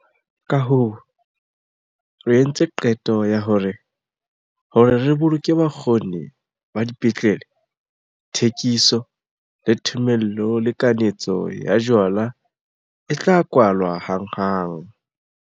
Kahoo re entse qeto ya hore, hore re boloke bokgoni ba dipetlele, thekiso, le thomello le kanetso ya jwala e tla kwalwa hanghang.